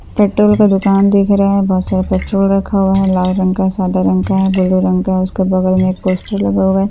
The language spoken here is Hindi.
पेट्रोल का दुकान दिख रहा है बहुत सारा पेट्रोल रखा हुआ है लाल रंग का है सादे रंग का है भूरे रंग का है उसके बगल में एक र्पोस्‍टर लगा हुआ है ।